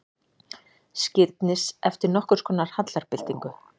Skírnis eftir nokkurskonar hallarbyltingu.